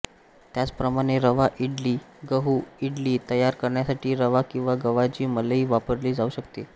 त्याच प्रमाणे रवा इडली गहू इडली तयार करण्यासाठी रवा किंवा गव्हाची मलई वापरली जाऊ शकते